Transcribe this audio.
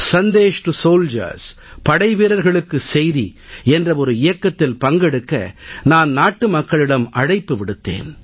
Sandesh2Soldiers அதாவது படைவீரர்களுக்கு செய்தி என்ற ஒரு இயக்கத்தில் பங்கெடுக்க நான் நாட்டுமக்களிடம் அழைப்பு விடுத்தேன்